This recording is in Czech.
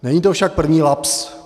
Není to však první lapsus.